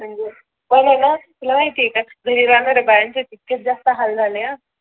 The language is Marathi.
म्हणजे पणे ना तुला माहित आहे का घरी राहणाऱ्या बायांचे आहे तितकेच जास्त हाल झाले ह